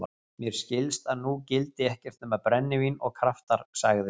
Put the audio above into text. Mér skilst að nú gildi ekkert nema brennivín og kraftar, sagði